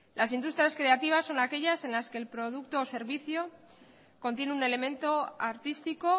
las industrias creativas son aquellas en las que el producto o servicio contiene un elemento artístico